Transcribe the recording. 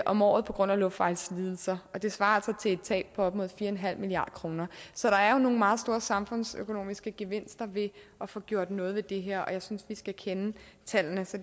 om året på grund af luftvejslidelser og det svarer til et tab på op imod fire en halv milliard kroner så der er nogle meget store samfundsøkonomiske gevinster ved at få gjort noget ved det her jeg synes vi skal kende tallene så